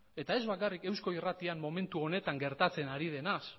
eta ez bakarrik eusko irratian momentu honetan gertatzen ari denaz